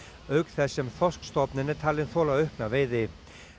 auk þess sem þorskstofninn er talinn þola aukna veiði